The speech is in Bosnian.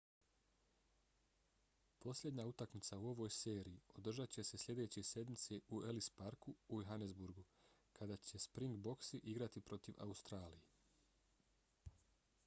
posljednja utakmica u ovoj seriji održat će se sljedeće sedmice u ellis parku u johannesburgu kada će springboksi igrati protiv australije